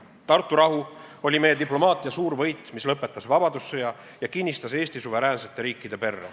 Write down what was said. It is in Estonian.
Tartu rahu oli meie diplomaatia suur võit, mis lõpetas vabadussõja ja kinnistas Eesti suveräänsete riikide perre.